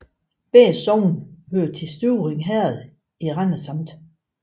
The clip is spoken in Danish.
Begge sogne hørte til Støvring Herred i Randers Amt